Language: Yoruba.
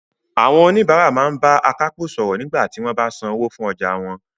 Àwọn oníbàárà máa ń bá akápò sọ̀rọ̀ nígbà tí wọ́n bá san owó fún ọjà wọn